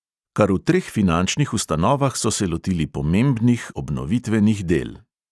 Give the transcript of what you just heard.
Kar v treh finančnih ustanovah so se lotili pomebnih obnovitvenih del.